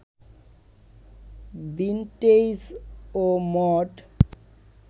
vintage ও mod